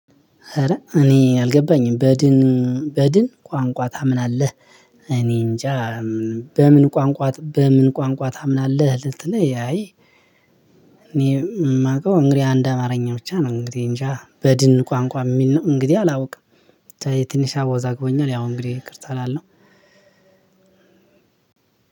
ኧረ እኔ አልገባኝም በድን በድን ቋንቋ ታምናለህ? እኔንጃ። በምን ቋንቋ በምን ቋንቋ ታምናለህ ልትል አይ። እኔ እማውቀው እንግዲህ አንድ አማርኛ ብቻ ነው። እንግዲህ እንጃ በድን ቋንቋ እሚል ነው። እንግዲህ አላውቅም። የትንሽ አወዛግቦኛል። ያው እንግዲህ ይቅርታ እላለሁ።